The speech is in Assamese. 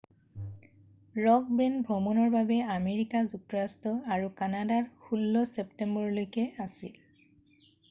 ৰ'ক বেণ্ড ভ্ৰমণৰ বাবে আমেৰিকা যুক্তৰাষ্ট্ৰ আৰু কানাডাত 16 ছেপ্টেম্বৰলৈকে আছিল